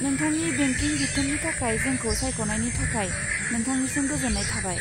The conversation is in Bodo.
नोंथांनि बेंकिं बिथोननि थाखाय जोंखौ सायख'नायनि थाखाय नोंथांनिसम गोजोन्नाय थाबाय।